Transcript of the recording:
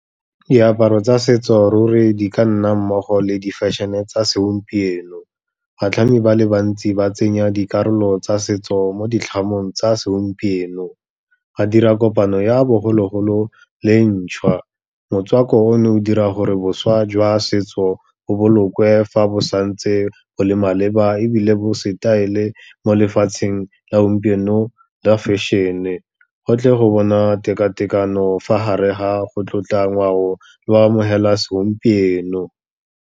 Diaparo tsa setso ruri di ka nna mmogo le di fashion-e tsa segompieno, batlhami ba le bantsi ba tsenya dikarolo tsa setso mo ditlhamong tsa segompieno, ba dira kopano ya bogologolo le e ntšhwa. Motswako ono o dira gore boswa jwa setso bo bolokwe fa bo santse bo le maleba, ebile bo style mo lefatsheng la gompieno lwa fashion-e, go tlhe go bona tekatekano fa gare ga go tlotla ngwao le go amogeloa segompieno.